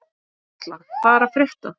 Karla, hvað er að frétta?